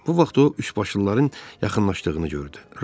Bu vaxt o üçbaşlıların yaxınlaşdığını gördü.